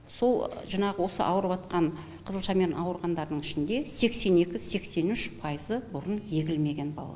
сол жаңағы осы ауырыватқан қызылшамен ауырғандардың ішінде сексен екі сексен үш пайызы бұрын егілмеген балалар